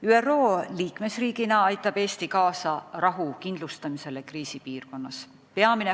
ÜRO liikmesriigina aitab Eesti kaasa rahu kindlustamisele kriisipiirkonnas.